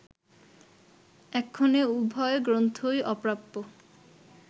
এক্ষণে উভয় গ্রন্থই অপ্রাপ্য